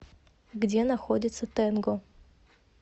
где находится тэнго